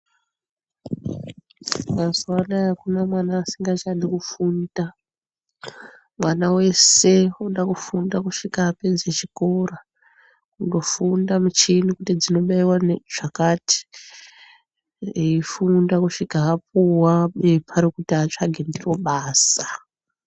Mazuwa anaya akuna mwana usingachadi kufunda. mwana wese unoda kufunda kusvika apedze chikora. kufunde michini kuti inobaiwa ngezvakati eifunda kusvika apuwa bepa rekuti atsvage ndiro basa.